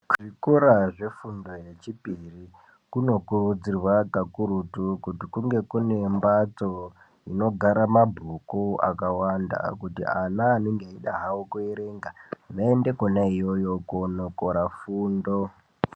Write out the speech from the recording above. Zvikora zvefundo yechipiri kuno kurudzirwa kakurutu kuti kunge kune mbatso inogara mabhuku akawanda ekuti ana anenge eida hawo kuerenga vaende ikweyo koono kora fundo.